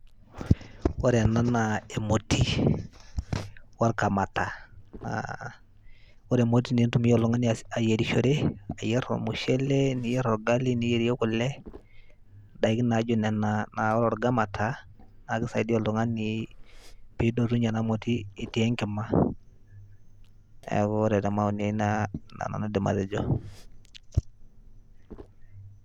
Ore ena naa emoti workamata, ore emoti nintumia oltung'ani aa ayerishore, ayer ormushele, niyer orgali, niyerie kule, ndaiki naijo nena. Naa ore orkamata, naake isaidia oltung'ani piidotunye ena moti etii enkima. Neeku ore te maoni ai nena aidim atejo.